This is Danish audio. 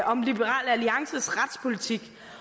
om liberal alliances retspolitik